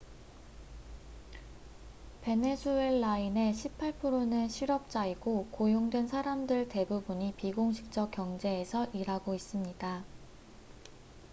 베네수엘라인의 18%는 실업자이고 고용된 사람들 대부분이 비공식적 경제에서 일하고 있습니다